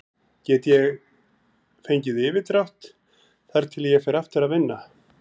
Ég get fengið yfirdrátt þar til ég fer aftur að vinna.